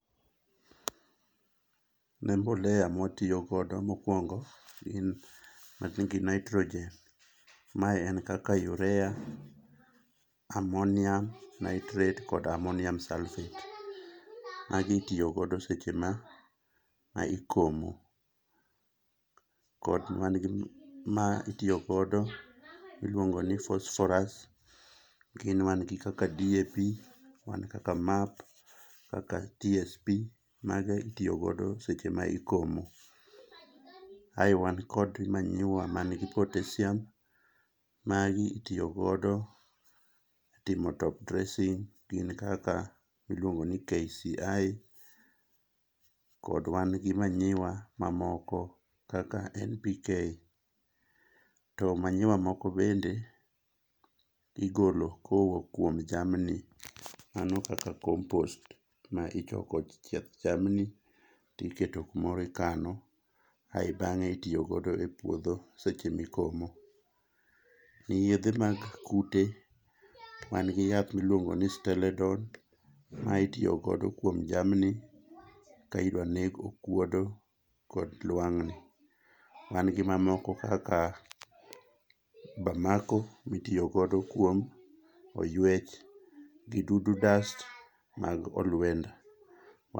Ne mbolea mwatiyogodo mokwongo gin manigi nitrogen mae en kaka urea, ammonium nitrate kod ammonium sulphate. Magi itiyogodo seche ma ikomo kod ma itiyogodo miluongo ni phosphorus gin mangi kaka DAP man kaka MAP kaka DSP mago itiyogodo seche ma ikomo. Ae wan kod manyiwa mangi potassium, magi itiyogodo e timo topdressing gin kaka miluongo ni KCI kod wan gi manyiwa mamoko kaka NPK. To manyiwa moko bende igolo kowok kuom jamni, mano kaka compost ma ichoko chieth jamni tiketo kumoro ikano ae bang'e itiyogodo e puodho seche mikomo. Yedhe mag kute wan gi yath miluongo ni steladon ma itiyogodo kuom jamni ka idwaneg okuodo kod lwang'ni. Wan gi mamoko kaka Bamako mitiyogodo kuom oyuech gi dudu dust mag olwenda.